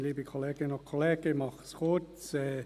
Ich mache es kurz.